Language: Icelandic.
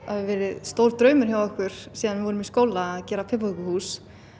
stór draumur hjá okkur síðan við vorum í skóla að gera piparkökuhús